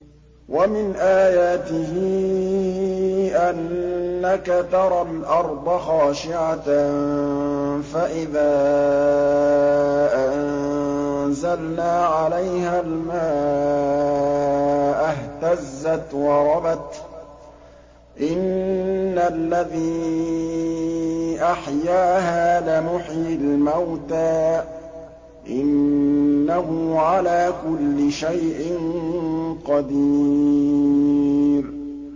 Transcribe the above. وَمِنْ آيَاتِهِ أَنَّكَ تَرَى الْأَرْضَ خَاشِعَةً فَإِذَا أَنزَلْنَا عَلَيْهَا الْمَاءَ اهْتَزَّتْ وَرَبَتْ ۚ إِنَّ الَّذِي أَحْيَاهَا لَمُحْيِي الْمَوْتَىٰ ۚ إِنَّهُ عَلَىٰ كُلِّ شَيْءٍ قَدِيرٌ